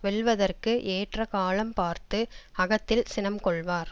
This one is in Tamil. வெல்வதற்கு ஏற்ற காலம் பார்த்து அகத்தில் சினம் கொள்வார்